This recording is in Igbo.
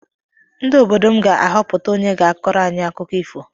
Ndị obodo m ga-ahọpụta onye ga-akọrọ anyị akụkọ ifo.